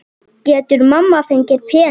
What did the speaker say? Getur mamma fengið pening?